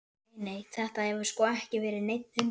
Nei, nei, þetta hefur sko ekki verið neinn hundur.